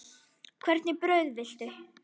Hvernig brauð viltu?